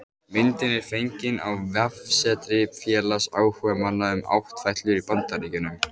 Myndin er fengin á vefsetri félags áhugamanna um áttfætlur í Bandaríkjunum